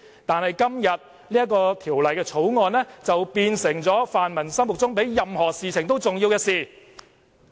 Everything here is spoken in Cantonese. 但是在今天，《條例草案》卻變成泛民議員心目中比任何事情更重要的事。